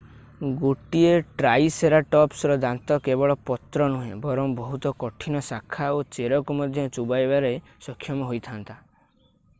ଗୋଟିଏ ଟ୍ରାଇସେରାଟପ୍ସର ଦାନ୍ତ କେବଳ ପତ୍ର ନୁହେଁ ବରଂ ବହୁତ କଠିନ ଶାଖା ଓ ଚେରକୁ ମଧ୍ୟ ଚୋବାଇବାରେ ସକ୍ଷମ ହୋଇଥା'ନ୍ତା